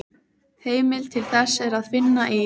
Heimild til þessa er að finna í